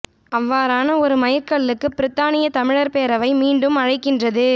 அவ்வாறான ஒரு மைற் கல்லுக்கு பிரித்தானிய தமிழர் பேரவை மீண்டும் அழைக்கின்றது